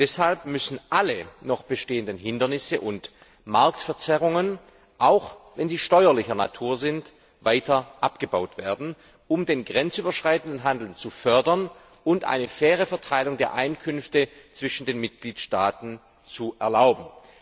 Deshalb müssen alle noch bestehenden Hindernisse und Marktverzerrungen, auch wenn sie steuerlicher Natur sind, weiter abgebaut werden, um den grenzüberschreitenden Handel zu fördern und eine faire Verteilung der Einkünfte zwischen den Mitgliedstaaten zu ermöglichen.